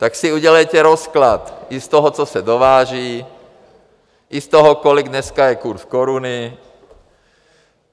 Tak si udělejte rozklad i z toho, co se dováží, i z toho, kolik je dneska kurz koruny.